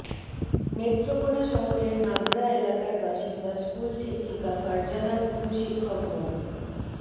নেত্রকোনা শহরের নাগড়া এলাকার বাসিন্দা স্কুলশিক্ষিকা ফারজানা স্কুলশিক্ষক মো